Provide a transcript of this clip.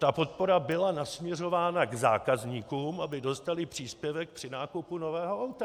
Ta podpora byla nasměrována k zákazníkům, aby dostali příspěvek při nákupu nového auta.